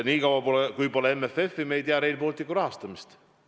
Nii kaua, kui pole MFF-i, me ei tea Rail Balticu rahastamist.